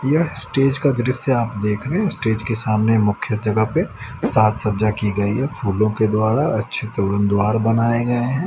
यह स्टेज का दृश्य आप देख रहे हैं स्टेज के सामने मुख्य जगह पे सात सज्जा की गई है फूलों के द्वारा अच्छ द्वार बनाए गए हैं।